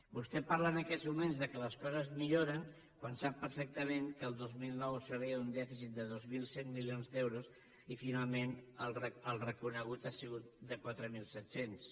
vostè parla en aquests moments que les coses milloren quan sap perfectament que al dos mil nou s’arriba a un dèficit de dos mil cent milions d’euros i finalment el reconegut ha sigut de quatre mil set cents